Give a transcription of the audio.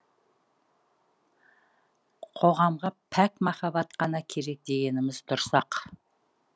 қоғамға пәк махаббат қана керек дегеніміз дұрыс ақ